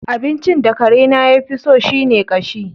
Abincin da karena ya fi so shi ne ƙashi.